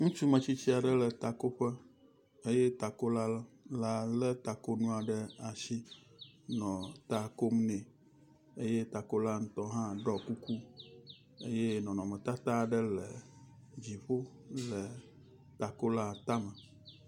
Ŋutsu metsitsi aɖe le takoƒe eye takola la le takonua ɖe asi nɔ takom nɛ eye takola ŋutɔ hã ɖɔ kuku eye nɔnɔmetata aɖe le dziƒo le takola tame.